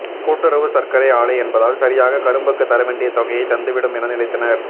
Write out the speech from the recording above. கூட்டுறவு சர்க்கரை ஆலை என்பதால் சரியாக கரும்புக்கு தரவேண்டிய தொகையை தந்துவிடும் என நினைத்தனர்